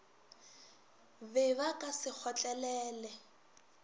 be ba ka se kgotlelele